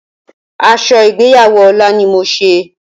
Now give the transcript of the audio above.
Aso igbeyawo Ola ni mo se.